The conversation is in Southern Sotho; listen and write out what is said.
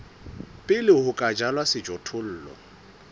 pele ho ka jalwa sejothollo